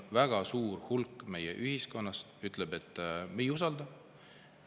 Väga suur osa meie ühiskonnast ei usalda seda.